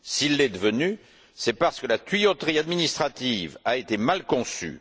S'il l'est devenu, c'est parce que la tuyauterie administrative a été mal conçue.